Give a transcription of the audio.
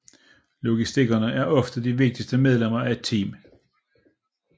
Logistikere er ofte de vigtigste medlemmer af et team